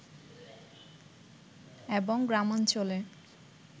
এবং গ্রামাঞ্চলে